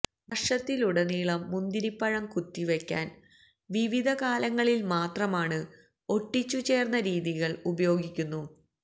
വർഷത്തിലുടനീളം മുന്തിരിപ്പഴം കുത്തിവയ്ക്കാൻ വിവിധ കാലങ്ങളിൽ മാത്രമാണ് ഒട്ടിച്ചുചേർന്ന രീതികൾ ഉപയോഗിക്കുന്നു